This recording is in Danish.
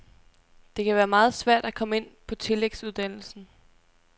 Det kan være meget svært at komme ind på tillægsuddannelsen.